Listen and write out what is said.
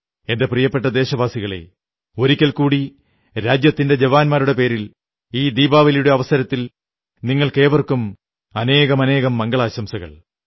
എന്റെ പ്രിയപ്പെട്ട ദേശവാസികളേ ഒരിക്കൽ കൂടി രാജ്യത്തിന്റെ ജവാന്മാരുടെ പേരിൽ ഈ ദീപാവലിയുടെ അവസരത്തിൽ നിങ്ങൾക്കേവർക്കും അനേകം മംഗളാശംസകൾ